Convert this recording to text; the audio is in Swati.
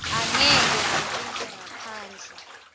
angeke kuntjintjwe ngaphandle